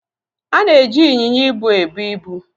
A na-eji ịnyịnya ibu ebu ibu.